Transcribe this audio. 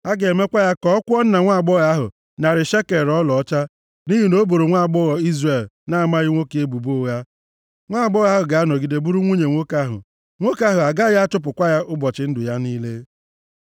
Ha ga-emekwa ya ka ọ kwụọ nna nwaagbọghọ ahụ narị shekel ọlaọcha, nʼihi na o boro nwaagbọghọ Izrel na-amaghị nwoke ebubo ụgha. Nwaagbọghọ ahụ ga-anọgide bụrụ nwunye nwoke ahụ. Nwoke ahụ agaghị achụpụkwa ya ụbọchị ndụ ya niile.